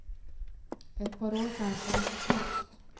Ett par år kanske, högst.